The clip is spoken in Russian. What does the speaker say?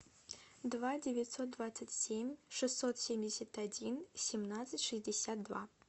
два девятьсот двадцать семь шестьсот семьдесят один семнадцать шестьдесят два